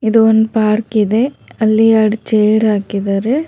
ಇದೊಂದು ಪಾರ್ಕಿದೆ ಅಲ್ಲಿ ಎರಡು ಚೇರ್ ಹಾಕಿದಾರೆ.